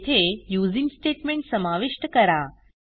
येथे using statement समाविष्ट करा